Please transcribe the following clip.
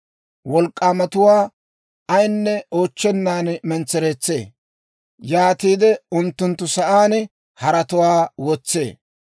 Wolk'k'aamatuwaa ayinne oochchennan mentsereetsee; yaatiide unttunttu sa'aan haratuwaa wotsee.